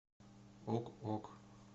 ок ок